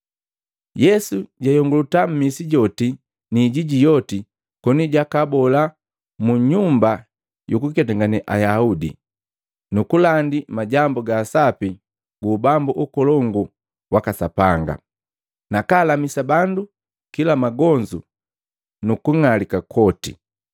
Yesu jayongolota mmisi joti ni ijiji yoti koni jakabola mu nyumba yukuketangane Ayaudi gabu nukulandi Majambu ga Sapi gu Ubambu Ukolongu waka Sapanga, nakalamisa bandu kila magonzu nukung'alika kwoti.